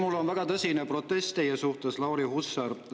Mul on väga tõsine protest teie suhtes, Lauri Hussar!